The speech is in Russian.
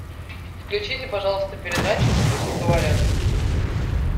включите пожалуйста передачу пусть говорят